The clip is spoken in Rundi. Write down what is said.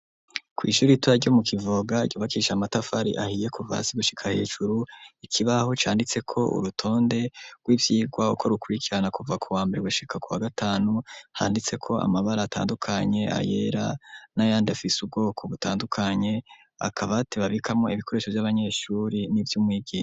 Kw'ishuri ritoya ryo mu Kivoga ryubakisha amatafari ahiye kuva hasi gushika hejuru ikibaho canditse ko urutonde rw'ivyigwa uko rukurikirana kuva ku wambere gushika kuwa gatanu handitse ko amabara atandukanye ayera nayandi afise ubwoko gutandukanye akabati babikamo ibikoresho vy'abanyeshure n'ivy'umwigisha.